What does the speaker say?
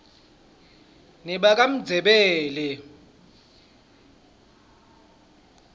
nebakamndzebele